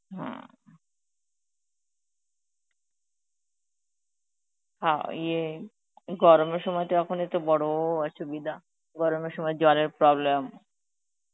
হম অ ইয়ে, গরমের সময় তো এখন একটু বড় অসুবিধা, গরমের সময় জলের problem.